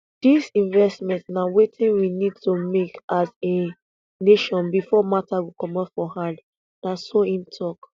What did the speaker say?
dis investment na wetin we need to make as a nation before matter go comot for hand na so im tok